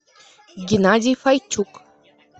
геннадий файчук